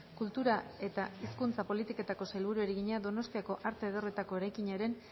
kultura eta hizkuntza politikako sailburuari egina donostiako arte ederretako eraikinaren